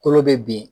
Kolo bɛ bin